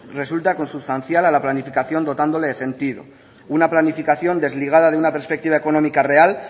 resulta consustancial a la planificación dotándole de sentido una planificación desligada de una perspectiva económica real